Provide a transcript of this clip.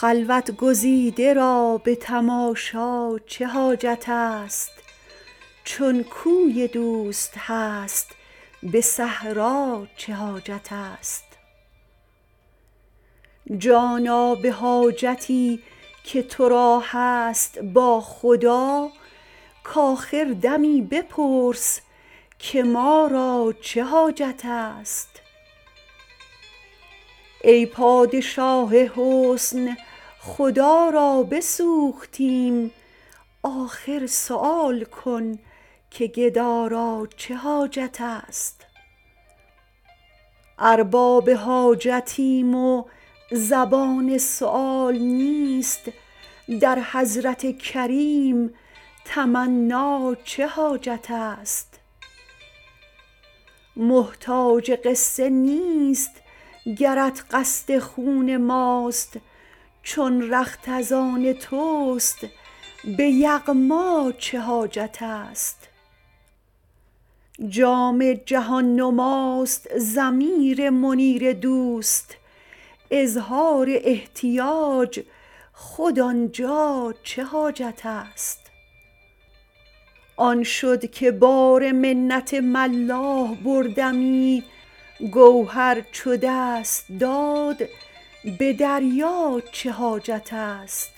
خلوت گزیده را به تماشا چه حاجت است چون کوی دوست هست به صحرا چه حاجت است جانا به حاجتی که تو را هست با خدا کآخر دمی بپرس که ما را چه حاجت است ای پادشاه حسن خدا را بسوختیم آخر سؤال کن که گدا را چه حاجت است ارباب حاجتیم و زبان سؤال نیست در حضرت کریم تمنا چه حاجت است محتاج قصه نیست گرت قصد خون ماست چون رخت از آن توست به یغما چه حاجت است جام جهان نماست ضمیر منیر دوست اظهار احتیاج خود آن جا چه حاجت است آن شد که بار منت ملاح بردمی گوهر چو دست داد به دریا چه حاجت است